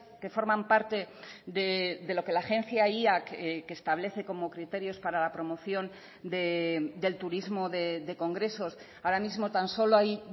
que forman parte de lo que la agencia que establece como criterios para la promoción del turismo de congresos ahora mismo tan solo hay